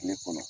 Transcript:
Tile kɔnɔ